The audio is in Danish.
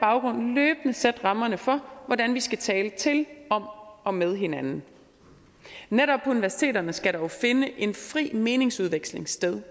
baggrund løbende sætte rammerne for hvordan vi skal tale til om og med hinanden netop på universiteterne skal der jo finde en fri meningsudveksling sted